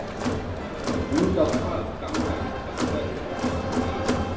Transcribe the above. Út á hvað ganga ykkar störf í þessum geira?